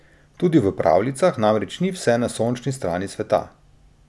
Tudi v pravljicah namreč ni vse na sončni strani sveta.